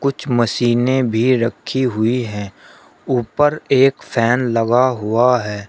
कुछ मशीनें भी रखी हुई है ऊपर एक फैन लगा हुआ है।